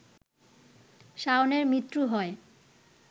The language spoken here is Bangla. শাওনের মৃত্যু হয়